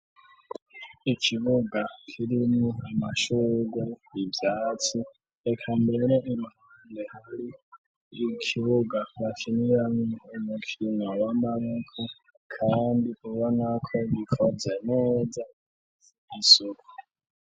Ikibuga kirimwo amashugu ivyatsi eka mbere imppande hari ikibuga bakiniyame umukina wa mbaneko, kandi uba nako gikoza neza isoko.